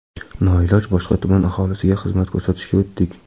Noiloj boshqa tuman aholisiga xizmat ko‘rsatishga o‘tdik.